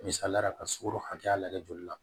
Misaliyala ka sɔro hakɛya lajɛ joli la